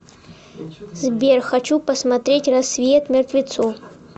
сбер хочу посмотреть рассвет мертвецов